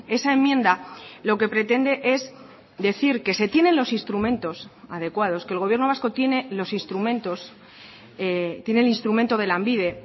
esa enmienda lo que pretende es decir que se tienen los instrumentos adecuados que el gobierno vasco tiene los instrumentos tiene el instrumento de lanbide